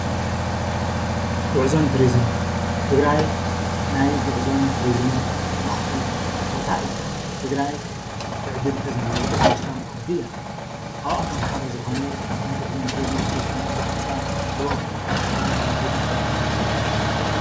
ጉዕዞን ትሪዝምን ትግራይ ናይ ጉዕዞን ትሪዝምን ማእከል ቦታ እያ። ትግራይ ትዕድልቲ ዘለዋ ሃፍታም ዓዲ እያ። ካብኣቶም ሓደ ዝኮነ ናይ ጉዕዞን ትሪዙምን ውፅኢት ዝኮነ ብዙሓት ሰባት ተኣኪቦም ናብ ሓደ ገዳም ከይዶም ዘርእየና ዘሎ ምስሊ እዩ።